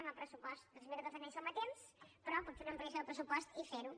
en el pressupost dos mil catorze no hi som a temps però pot fer una ampliació del pressupost i fer ho